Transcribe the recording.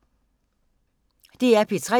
DR P3